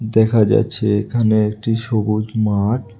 দেখা যাচ্ছে এখানে একটি সবুজ মাঠ।